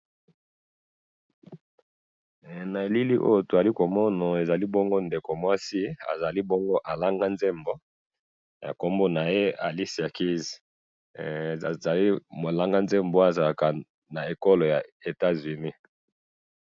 he na elili oyo tozali komona ezali bongo ndeko mwasi azali bongo alanga nzebo kombo naye alicia kis azali bongo ko langa nzebo azali naye kolnga nzebo na mboka ya Etats Unis.